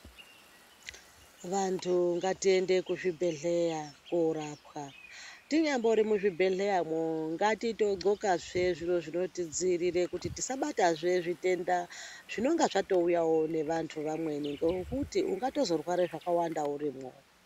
Vantu ngatiende kuzvibhedhleya korapwa, tinyambori muzvibhedhleyamwo ngatitogqokazve zviro zvinotidziirira kuti tisabatwazve zvitenda. Zvinonga zvatouyawo nevantu vamweni nekuti ungatozorware zvakawanda urimwo.